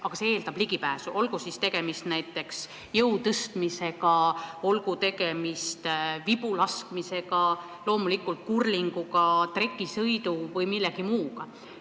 Aga see eeldab ligipääsu, olgu tegemist näiteks jõutõstmisega, vibulaskmisega, kurlinguga, trekisõiduga või millegi muuga.